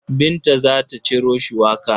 Binta za ta ciro shuwaka.